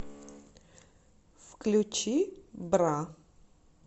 включи бра